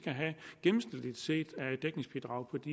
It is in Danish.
gennemsnitligt set af dækningsbidrag på de